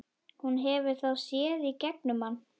Hún hefur þá séð í gegnum hann.